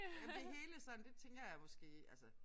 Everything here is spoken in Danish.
Jamen det hele sådan det tænker jeg måske altså